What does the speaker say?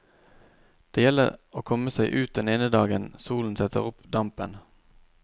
Det gjelder å komme seg ut den ene dagen solen setter opp dampen.